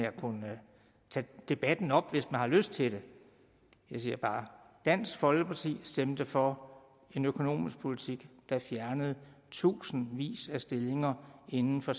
at kunne tage debatten op hvis man har lyst til det jeg siger bare dansk folkeparti stemte for en økonomisk politik der fjernede tusindvis af stillinger inden for